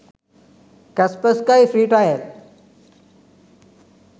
kaspersky free trial